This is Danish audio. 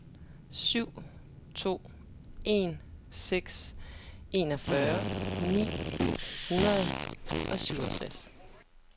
syv to en seks enogfyrre ni hundrede og syvogtres